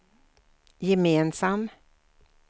gemensam